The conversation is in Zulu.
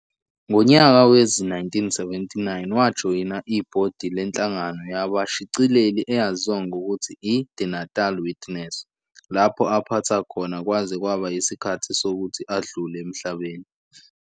Ngonyaka wezi-1979 wajoyina ibhodi lenhlangano yabashicileli eyaziwa ngokuthi i-"The Natal Witness", lapho aphatha khona kwaze kwaba isikhathi sokuthi adlule emhlabeni.